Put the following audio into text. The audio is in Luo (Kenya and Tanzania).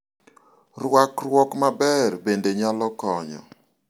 rwakruok maber bende nyalo konyo